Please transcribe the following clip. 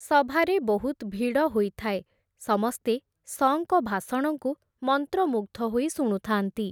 ସଭାରେ ବହୁତ୍ ଭିଡ଼ ହୋଇଥାଏ, ସମସ୍ତେ, ‘ଶ’ଙ୍କ ଭାଷଣଙ୍କୁ, ମନ୍ତ୍ରମୁଗ୍‌ଧ ହୋଇ ଶୁଣୁଥାନ୍ତି ।